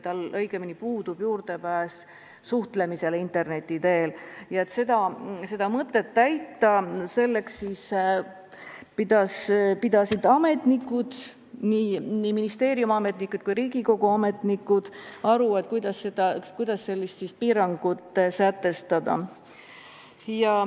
Et oleks võimalik seda sätet täita, pidasid ministeeriumi ja Riigikogu ametnikud aru, kuidas sellist piirangut rakendada.